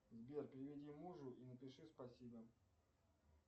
сбер переведи мужу и напиши спасибо